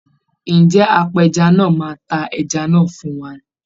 Ǹjẹ́ apẹja náà máa ta ẹja náà fún wa?